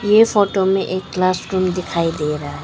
ये फोटो में एक क्लास रूम भी दिखाई दे रहा है।